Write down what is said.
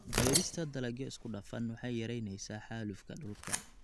Beerista dalagyo isku dhafan waxay yaraynaysaa xaalufka dhulka.